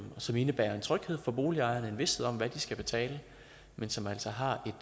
som indebærer en tryghed for boligejerne en vished om hvad de skal betale men som altså har et